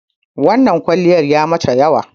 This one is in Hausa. wannan kwaliyan yayi mata yawa